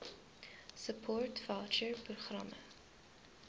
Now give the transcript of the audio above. support voucher programme